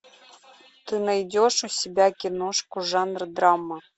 ты найдешь у себя киношку жанра драма